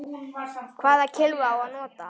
Hvaða kylfu á að nota?